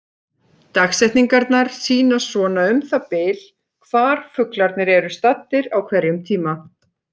Dagsetningarnar sýna svona um það bil hvar fuglarnir eru staddir á hverjum tíma.